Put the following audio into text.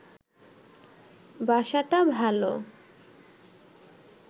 বাসাটা ভাল